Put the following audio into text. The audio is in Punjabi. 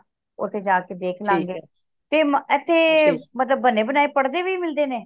ਓਥੇ ਜਾ ਕੇ ਦੇਖ ਲਾਂਗੇ ਤੇ ਏਥੇ ਮਤਲਬ ਬਣੇ ਬਣਾਏ ਪੜ੍ਹਦੇ ਵੀ ਮਿਲਦੇ ਨੇ